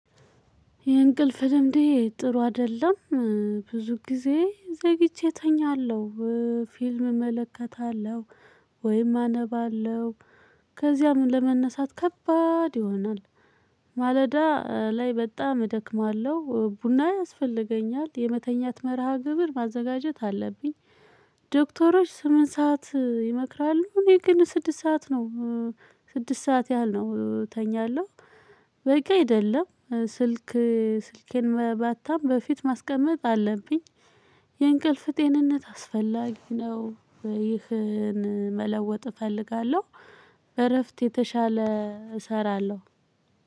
የእንቅልፍ ልምዴ ጥሩ አይደለም። ብዙ ጊዜ ዘግቼ እተኛለሁ። ፊልም እመለከታለሁ። ወይም አነባለሁ። ከዚያም ለመነሳት ከባድ ይሆናል። ማለዳ ላይ በጣም እደክማለሁ ቡና ያስፈልገኛል። የመተኛት መርሃ ግብር ማዘጋጀት አለብኝ። ዶክተሮች ስምንት ሰዓት ይመክራሉ። እኔ ግን ስድስት ሰዓት ነው። ስድስት ሰዓት ያህል ነው እተኛለሁ። በቂ አይደለም። ስልኬን ማታም በፊት ማስቀመጥ አለብኝ። የእንቅልፍ ጤንነት አስፈላጊ ነው። ይህን መለወጥ እፈልጋለሁ። እረፍት የተሻለ እሰራለሁ።